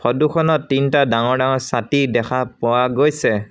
ফোট খনত তিনটা ডাঙৰ ডাঙৰ ছাতি দেখা পোৱা গৈছে।